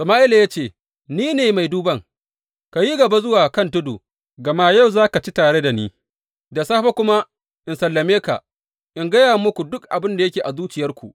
Sama’ila ya ce, Ni ne mai duban, ka yi gaba zuwa ka tudu, gama yau za ka ci tare da ni, da safe kuma in sallame ka, in gaya muku duk abin da yake a zuciyarku.